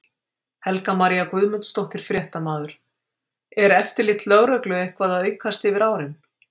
Helga María Guðmundsdóttir, fréttamaður: Er eftirlit lögreglu eitthvað að aukast yfir árin?